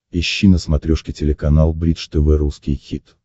ищи на смотрешке телеканал бридж тв русский хит